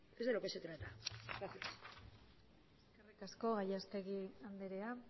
es de lo que se trata eskerrik asko gallastegui andrea